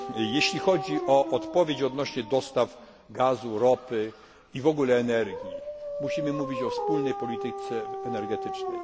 Jeśli chodzi o odpowiedź odnośnie do dostaw gazu, ropy i w ogóle energii, musimy mówić o wspólnej polityce energetycznej.